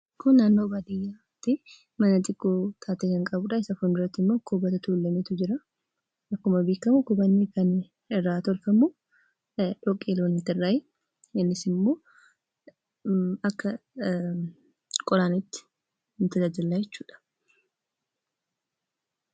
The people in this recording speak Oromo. Kan asirratti argamu mana xiqqoo baadiyyaa keessatti mukaa fi dhoqqee irraa ijaaramedha. Mukti isaas kan jiru akka waan qoraaniif falaxameetti qophaayeeti.